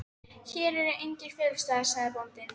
Hér eru engir felustaðir, sagði bóndinn.